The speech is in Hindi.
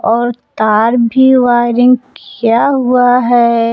और तार वायरिंग किया हुआ है।